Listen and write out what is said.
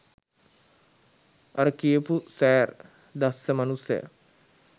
අර කියපු "සෑර්" දස්ස මනුස්සයා